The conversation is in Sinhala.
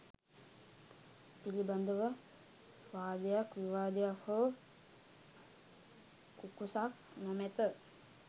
පිළිබඳව වාදයක් විවාදයක් හෝ කුකුසක් නොමැත.